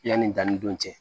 Yanni danni don cɛ